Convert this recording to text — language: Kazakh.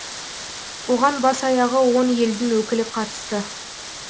оған бас аяғы он елдің өкілі қатысты